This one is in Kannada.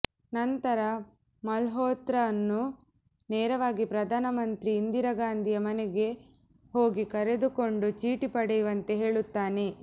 ನಂತರ ಮಲ್ಹೋತ್ರನ್ನು ನೇರವಾಗಿ ಪ್ರಧಾನ ಮಂತ್ರಿ ಇಂದಿರಾ ಗಾಂಧಿಯ ಮನೆಗೆ ಹೋಗಿ ಕರೆದುಕೊಂಡು ಚೀಟಿ ಪಡೆಯುವಂತೆ ಹೇಳುತ್ತಾನೆ